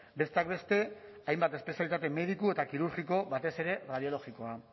besteak beste hainbat espezialitate mediku eta kirurgiko batez ere radiologikoa